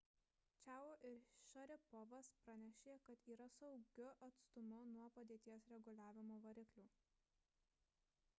čiao ir šaripovas pranešė kad yra saugiu atstumu nuo padėties reguliavimo variklių